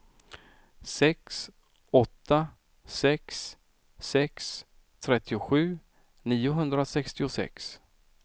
sex åtta sex sex trettiosju niohundrasextiosex